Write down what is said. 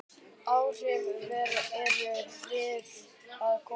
Áhrifin eru víða að komin.